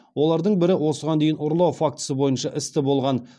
олардың бірі осыған дейін ұрлау фактісі бойынша істі болған